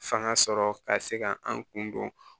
Fanga sɔrɔ ka se ka an kun don